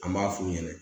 An b'a f'u ɲɛnɛ